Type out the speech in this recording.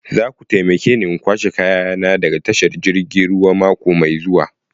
Za ku taimake ni in kwashe kayana daga tashar jirgin ruwa mako mai zuwa.